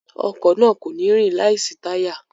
Ọkọ̀ náà kò ní rìn láìsí táyà